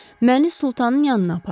Məni Sultanın yanına aparın.